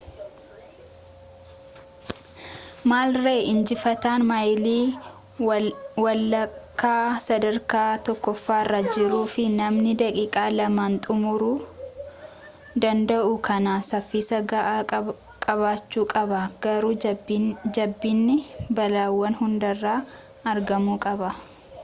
maal ree injifataan maayilii walakkaa sadarkaa tokkoffaarra jiruu fi namni daqiiqaa lamaan xumuruu danda’u akkanaa saffisa ga’aa qabaachuu qaba garuu jabinni balaawwan hundarraa argamuu qaba.